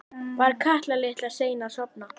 Var Kata litla sein að sofna?